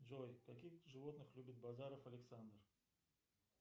джой каких животных любит базаров александр